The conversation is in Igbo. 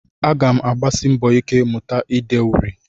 Aga m agbasi mbọ ike mụta ide uri